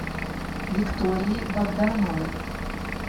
викторией богдановой